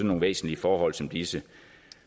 nogle væsentlige forhold som disse